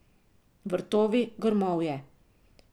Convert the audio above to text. Vrtovi, grmovje.